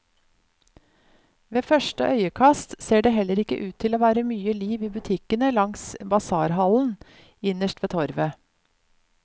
Ved første øyekast ser det heller ikke ut til å være mye liv i butikkene langs basarhallen, innerst ved torvet.